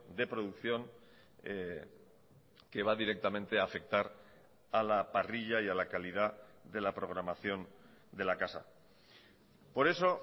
de producción que va directamente a afectar a la parrilla y a la calidad de la programación de la casa por eso